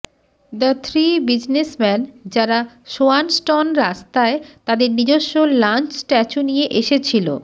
the three business man যারা Swanston রাস্তায় তাদের নিজস্ব লাঞ্চ স্ট্যাচু নিয়ে এসেছিল